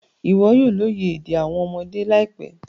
Iwọ yoo loye ede awọn ọmọde laipẹ